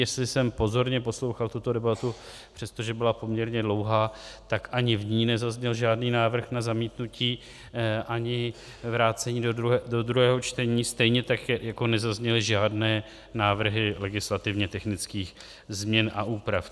Jestli jsem pozorně poslouchal tuto debatu, přestože byla poměrně dlouhá, tak ani v ní nezazněl žádný návrh na zamítnutí ani vrácení do druhého čtení, stejně tak jako nezazněly žádné návrhy legislativně technických změn a úprav.